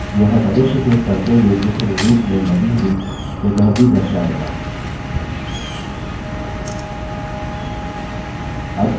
यह मनुष्य के पढने योग्य संरूप में लगी हुई जगह भी दर्शाएगा